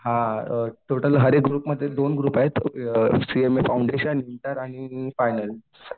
हां अ टोटल हर एक ग्रुपमध्ये दोन ग्रुप आहेत एक सीएमए फौंडेशन, इंटर आणि फायनल.